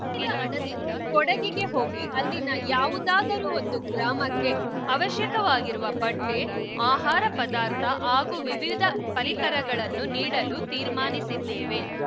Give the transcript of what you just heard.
ಉಳಿದ ಹಣದಿಂದ ಕೊಡಗಿಗೆ ಹೋಗಿ ಅಲ್ಲಿನ ಯಾವುದಾದರೂ ಒಂದು ಗ್ರಾಮಕ್ಕೆ ಅವಶ್ಯಕವಾಗಿರುವ ಬಟ್ಟೆಆಹಾರ ಪದಾರ್ಥ ಹಾಗೂ ವಿವಿಧ ಪರಿಕರಗಳನ್ನು ನೀಡಲು ತೀರ್ಮಾನಿಸಿದ್ದೇವೆ